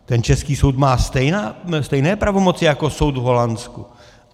Ten český soud má stejné pravomoci jako soud v Holandsku.